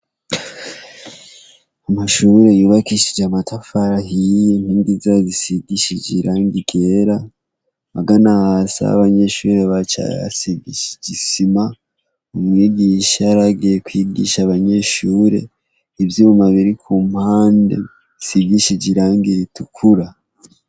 Amashure yubakishije amatafari ahiye, inkingi zayo zisigishe irangi ryera. Amagana hasi aho abanyeshure baca hasigishije isima. Umwigisha yaragiye kwigisha abanyeshure. Ivyuma biri ku mpande bisigishije irangi ritukura.